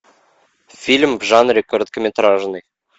фильм в жанре короткометражный